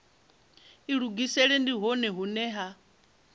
ilugisela ndi hone hune ha